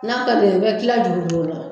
N'a ka di n ye n be kilan juru do o la